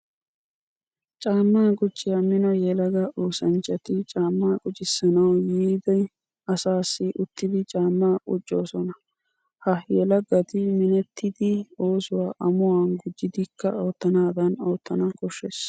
Caama qucciya mino yelaga oosanchchatti caama quccissanawu yiida asaassi uttiddi caama quccosonna. Ha yelagatta minttetiddi oosuwa amuwa gujidikka ootanadan ootanna koshees.